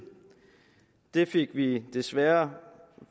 det fik vi desværre